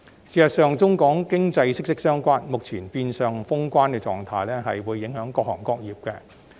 事實上，中港經濟息息相關，所以目前變相封關的狀態影響到各行各業。